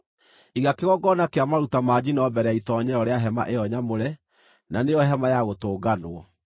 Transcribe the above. “Iga kĩgongona kĩa maruta ma njino mbere ya itoonyero rĩa hema ĩyo nyamũre, na nĩyo Hema-ya-Gũtũnganwo;